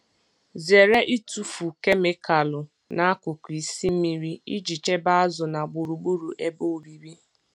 Zere ịtụfu kemịkalụ n'akụkụ isi mmiri iji chebe azụ na gburugburu ebe obibi.